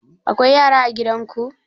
Akwai yara a gidan ku?